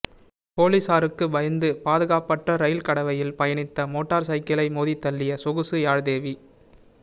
பொலிஸாருக்கு பயந்து பாதுகாப்பற்ற ரயில் கடவையில் பயணித்த மோட்டர் சைக்கிளை மோதித்தள்ளிய சொகுசு யாழ்தேவி